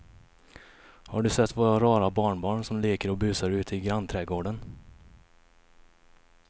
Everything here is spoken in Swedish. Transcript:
Har du sett våra rara barnbarn som leker och busar ute i grannträdgården!